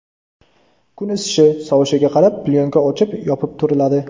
Kun isishi, sovishiga qarab plyonka ochib, yopib turiladi.